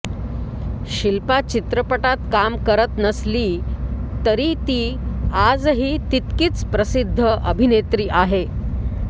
शिल्पा चित्रपटात काम करत नसली तरी ती ती आजही तितकीच प्रसिद्ध अभिनेत्री आहे